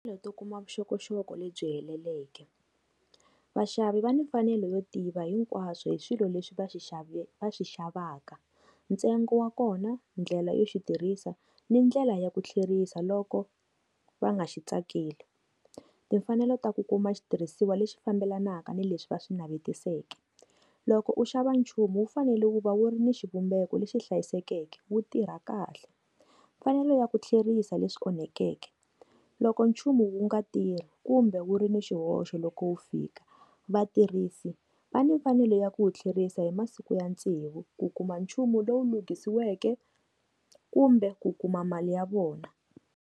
Leyi to kuma vuxokoxoko lebyi heleleke, vashavi va ni mfanelo yo tiva hinkwaswo hi swilo leswi va xixave vaxixavaka ntsengo wa kona ndlela yo xitirhisa ni ndlela ya ku tlherisa loko va nga xi tsakeli. Timfanelo ta ku kuma xitirhisiwa lexi fambelanaka ni leswi va swi navetiseke loko u xava nchumu wu fanele wu va wu ri ni xivumbeko lexi hlayisekeke wu tirha kahle, mfanelo ya ku tlherisa leswi onhekeke loko nchumu unga tirhi kumbe wu ri ni xihoxo loko wu fika vatirhisi va na mfanelo ya ku tlherisa hi masiku ya tsevu ku kuma nchumu lowu lunghisiweke kumbe ku kuma mali ya vona.